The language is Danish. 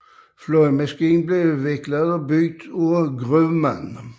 Flyet blev udviklet og bygget af Grumman